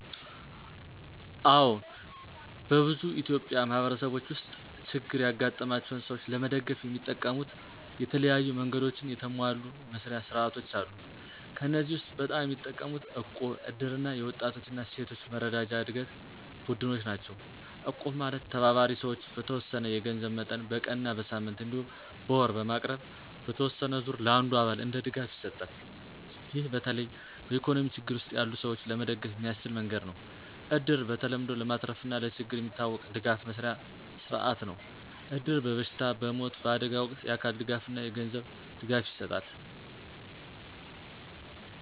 አዎን፣ በብዙ ኢትዮጵያዊ ማህበረሰቦች ውስጥ ችግር ያጋጠማቸውን ሰዎች ለመደገፍ የሚጠቀሙት የተለያዩ መንገዶችና የተሟሉ መስርያ ሥርዓቶች አሉ። ከእነዚህ ውስጥ በጣም የሚጠቀሙት እቁብ፣ እድር እና የወጣቶች እና ሴቶች መረጃና ዕድገት ቡድኖች ናቸው። እቁብ ማለት ተባባሪ ሰዎች በተወሰነ የገንዘብ መጠን በቀን እና በሳምንት እንዲሁም በወር በማቅረብ በተወሰነ ዙር ለአንዱ አባል እንደ ድጋፍ ይሰጣል። ይህ በተለይ በኢኮኖሚ ችግር ውስጥ ያሉ ሰዎች ለመደገፍ የሚያስችል መንገድ ነው። እድር በተለምዶ ለማትረፍና ለችግር የሚታወቅ ድጋፍ መስርያ ሥርዓት ነው። እድር በበሽታ፣ በሞት፣ በአደጋ ወቅት የአካል ድጋፍና የገንዘብ ድጋፍ ይሰጣል።